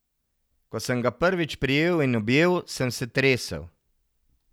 Ko sem ga prvič prijel in objel, sem se tresel.